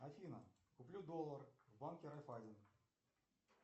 афина куплю доллар в банке райффайзен